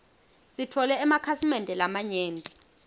sitfole emakhasimende lamanyenti